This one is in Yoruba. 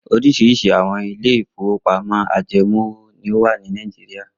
Oríṣiríṣi àwọn ilé-ìfowópamọ́sí ajẹmówò ni ó wà ní Nàìjíríà.